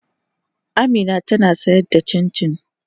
Amina tana sayar da cincin.